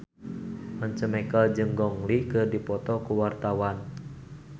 Once Mekel jeung Gong Li keur dipoto ku wartawan